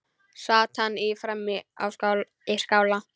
Sat hann frammi í skála.